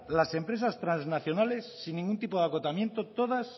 las empresas trasnacionales sin ningún tipo de acotamiento todas